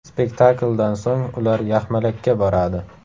Spektakldan so‘ng ular yaxmalakka boradi.